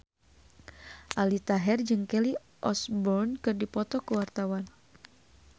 Aldi Taher jeung Kelly Osbourne keur dipoto ku wartawan